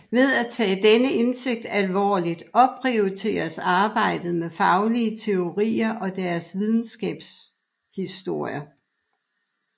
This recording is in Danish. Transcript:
Ved at tage denne indsigt alvorligt opprioriteres arbejdet med faglige teorier og deres videnskabshistorie